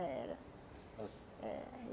Era.